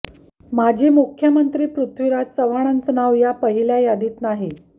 माजी मुख्यमंत्री पृथ्वीराज चव्हाणांचं नाव या पहिल्या यादीत नाही